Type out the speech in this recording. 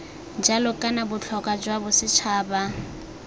jalo kana botlhokwa jwa bosetšhaba